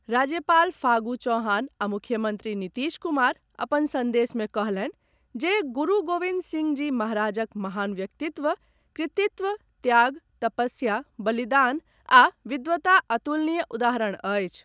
राज्यपाल फागू चौहान आ मुख्यमंत्री नीतीश कुमार अपन संदेश मे कहलनि जे गुरू गोविंद सिंह जी महाराजक महान व्यक्तित्व, कृतित्व, त्याग, तपस्या, बलिदान आ विद्वता अतुलनीय उदाहरण अछि।